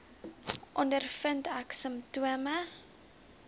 ondervind ek simptome